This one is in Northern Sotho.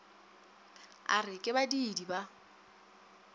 a re ke badiidi ba